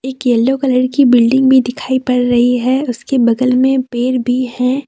एक yellow colour की building भी दिखाई पड़ रही है उसके बगल में पेड़ भी है।